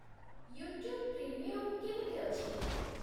YouTube premium କେମିତି ଅଛି?